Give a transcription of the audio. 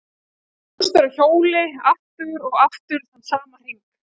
Eins og hamstur á hjóli, aftur og aftur þann sama hring.